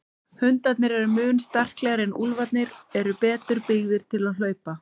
Hundarnir eru mun sterklegri en úlfarnir eru betur byggðir til hlaupa.